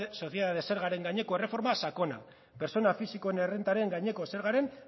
sozietate zergaren gaineko erreforma sakona pertsona fisikoen errentaren gaineko zergaren